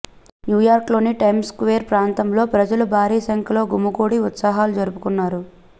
న్యూయార్క్లోని time square ప్రాంతంలో ప్రజలు భారీ సంఖ్యలో గుమిగూడి ఉత్సాహాలు జరుపుకున్నారు